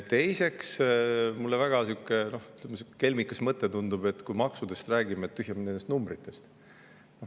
Teiseks, mulle tundub see sihukese väga kelmika mõttena, et me räägime maksudest, aga tühja meil nendest numbritest.